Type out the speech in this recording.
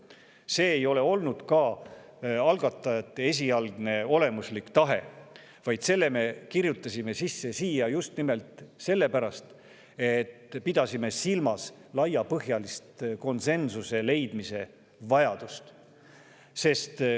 See ei ole olnud ka algatajate esialgne olemuslik tahe, vaid selle me kirjutasime sisse just nimelt sellepärast, et pidasime silmas laiapõhjalise konsensuse leidmise vajadust.